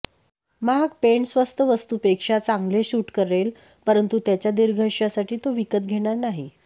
महाग पेंट स्वस्त वस्तूपेक्षा चांगले शूट करेल परंतु त्याच्या दीर्घयुष्यसाठी तो विकत घेणार नाही